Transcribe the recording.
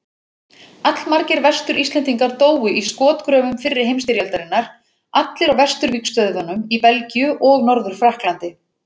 Allmargir Vestur-Íslendingar dóu í skotgröfum fyrri heimsstyrjaldarinnar, allir á vesturvígstöðvunum í Belgíu og Norður-Frakklandi.